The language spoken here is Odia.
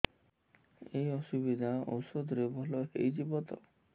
ଏଇ ଅସୁବିଧା ଏଇ ଔଷଧ ରେ ଭଲ ହେଇଯିବ ତ